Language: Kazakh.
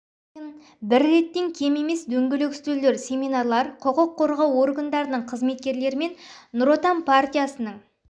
сайын бір реттен кем емес дөңгелек үстелдер семинарлар құқық қорғау органдарының қызметкерлерімен нұр отан партиясының